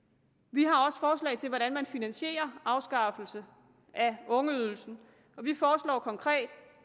vi har også forslag til hvordan man finansierer afskaffelse af ungeydelsen vi foreslår konkret